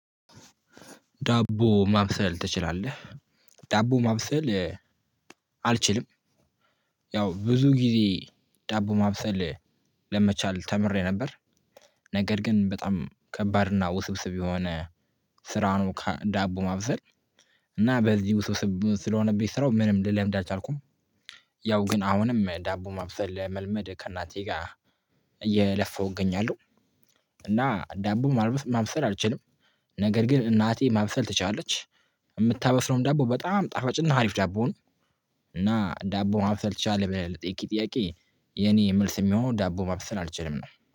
ዳቦ ማብሰል ትችላለህ? ዳቦ ማብሰል አልችልም። ያው ብዙ ጊዜ ዳቦ ማብሰል ለመቻል ተምሬ ነበር። ነገር ግን በጣም ከባድ እና ውስብስብ የሆነ ስራውን ዳቦ ማብሰል እና በዚህ ውስብስብ ስለሆነብኝ ስራው ምንም ልለምድ አልቻልኩም። ያው ግን አሁንም ዳቦ ማብሰል መልመድ ከእናንተ ጋር እየለፈው እገኛለሁ። እና ዳቦ ማልበስ ማምሰል አልችልም። ነገር ግን እናቴ ማብሰል ትችላለች። የምታበስለው ዳቦ በጣም ጣፋጭና አሪፍ ዳቦ ነው። እና ዳቦ ማብሰል ትችላለህ ብለህ ለጠየቅከኝ ጥያቄ የኔ መልስ የሚሆነው ዳቦ ማብሰል አልችልም ነው።